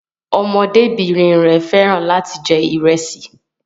Ọmọdébìnrin rẹ̀ fẹ́ràn láti jẹ ìrẹsì